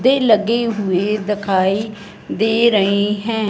दे लगे हुए दखाई दे रहे है।